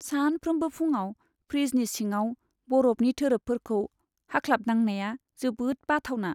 सानफ्रोमबो फुंआव फ्रिजनि सिङाव बरफनि थोरफोफोरखौ हाख्लाबनांनाया जोबोद बाथावना।